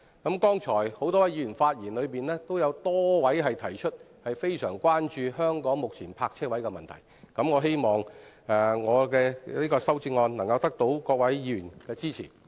剛才多位議員發言時提出，非常關注香港目前泊車位的問題，我希望我的修正案能夠得到各位議員的支持。